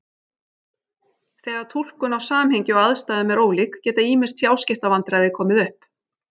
Þegar túlkun á samhengi og aðstæðum er ólík geta ýmis tjáskiptavandræði komið upp.